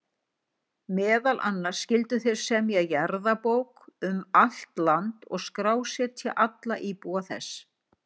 Meðal annars skyldu þeir semja jarðabók um allt land og skrásetja alla íbúa þess.